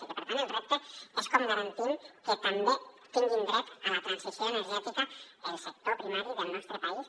i per tant el repte és com garantim que també tingui dret a la transició energètica el sector primari del nostre país